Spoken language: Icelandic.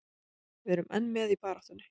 Við erum enn með í baráttunni.